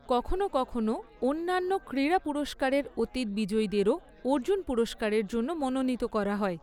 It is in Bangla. কখনো কখনো অন্যান্য ক্রীড়া পুরস্কারের অতীত বিজয়ীদেরও অর্জুন পুরস্কারের জন্য মনোনীত করা হয়।